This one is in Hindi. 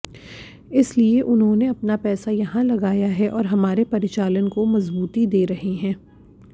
इसलिए उन्होंने अपना पैसा यहां लगाया है और हमारे परिचालन को मजबूती दे रहे हैं